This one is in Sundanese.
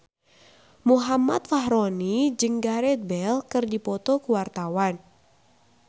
Muhammad Fachroni jeung Gareth Bale keur dipoto ku wartawan